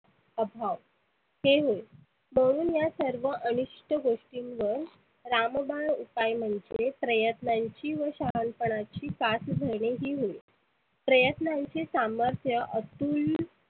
ते होय. म्हणून या अनुष्ट गोष्टींवर रामबाण उपाय म्हणजे प्रयत्नांची व शहानपणाची साथ धरने ही होय. प्रयत्नांचे सामर्थ्य अतुल